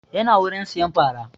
Ya na wurin sayan fara